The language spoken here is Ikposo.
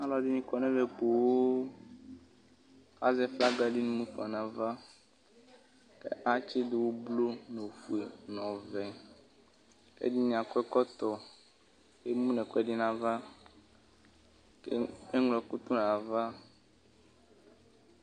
Alʋ ɛdini kɔ nʋ ɛmɛ poo kʋ azɛ flaga di mufanʋ ava kʋ atsidʋ ʋblʋ nʋ ofue nʋ ɔvɛ kʋ ɛdini akɔ ɛkɔtɔ kʋ eŋlo ɛkʋɛdi nʋ ava